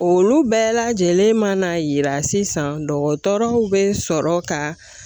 Olu bɛɛ lajɛlen mana yira sisan dɔgɔtɔrɔw be sɔrɔ ka